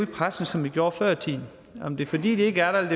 pressen som vi gjorde før i tiden om det er fordi de ikke er der